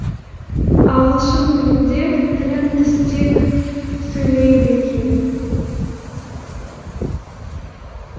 ағылшын тілінде тілін тістеп сөйлейді екен